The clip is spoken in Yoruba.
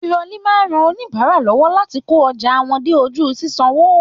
Tirọli máa n rán oníbárà lọwọ láti kó ọjà wọn dé ojú ṣiṣanwo.